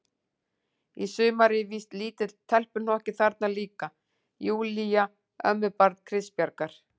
Í sumar er víst lítill telpuhnokki þarna líka, Júlía, ömmubarn Kristbjargar.